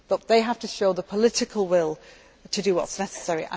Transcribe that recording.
me. They have to show the political will to do what is necessary